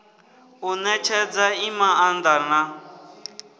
u netshedza i maanda na